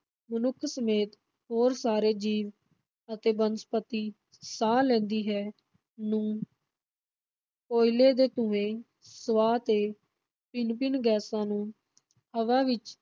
ਮਨੁੱਖ ਸਮੇਤ ਹੋਰ ਸਾਰੇ ਜੀਵ ਅਤੇ ਬਨਸਪਤੀ ਸਾਹ ਲੈਂਦੀ ਹੈ, ਨੂੰ ਕੋਇਲੇ ਦੇ ਧੂੰਏਂ ਸੁਆਹ ਤੇ ਭਿੰਨ-ਭਿੰਨ ਗੈਸਾਂ ਨੂੰ ਹਵਾ ਵਿਚ